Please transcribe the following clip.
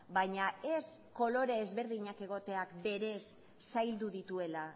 baina ez kolore ezberdinak egoteak berez zaildu dituela